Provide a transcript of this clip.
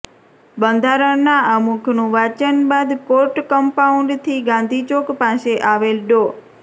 બંધારણના આમુખનું વાંચન બાદ કોર્ટ કંપાઉન્ડથી ગાંધીચોક પાસે આવેલ ડો